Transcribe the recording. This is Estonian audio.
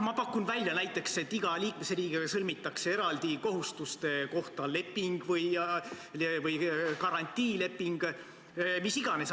Ma pakun välja, et näiteks iga liikmesriigiga sõlmitaks kohustuste kohta eraldi leping või garantiileping, mis iganes.